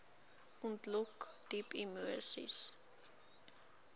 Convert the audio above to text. ontlok diep emoseis